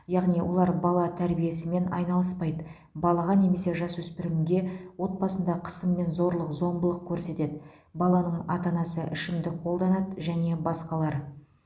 яғни олар бала тәрбиесімен айналыспайды балаға немесе жасөспірімге отбасында қысым мен зорлық зомбылық көрсетеді баланың ата анасы ішімдік қолданады және басқалар